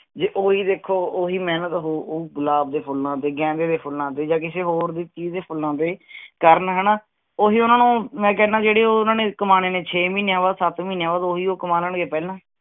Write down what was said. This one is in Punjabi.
ਜੇ ਉਹ ਹੀ ਦੇਖੋ ਉਹੀ ਮਿਹਨਤ ਓਹੋ ਗੁਲਾਬ ਦੇ ਫੁਲਾਂ ਤੇ, ਗੈਂਦੇ ਦੇ ਫੁਲਾਂ ਤੇ ਜਾ ਕਿਸੀ ਹੋਰ ਚੀਜ਼ ਦੇ ਫੁਲਾਂ ਤੇ ਕਰਨ ਹਣਾ, ਓਹੀ ਓਹਨਾ ਨੂੰ ਮੈ ਕਹਿੰਦਾ ਹਣਾ ਜਿਹੜੇ ਉਨ੍ਹਾਂਨੇ ਕਮਾਣੇਛੇ ਮਹੀਨਿਆਂ ਸੱਤ ਮਹੀਨਿਆਂ ਬਾਅਦ ਓਹੀ ਉਹ ਕਮਾ ਲੈਣਗੇ ਪਹਿਲਾਂ।